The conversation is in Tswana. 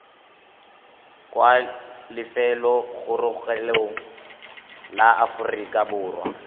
kwa lefelobogorogelong la aforika borwa